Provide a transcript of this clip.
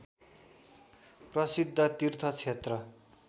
प्रसिद्ध तीर्थ क्षेत्र